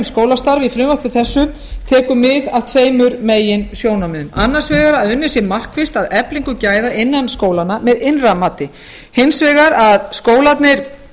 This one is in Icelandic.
í frumvarpi þessu tekur mið af tveimur meginsjónarmiðum annars vegar að unnið sé markvisst að eflingu gæða innan skólanna með innra mati hins vegar að skólarnir